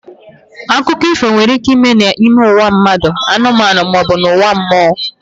Akụkọ ifo nwere ike ime n'ime ụwa mmadụ, anụmanụ ma ọ bụ ụwa mmụọ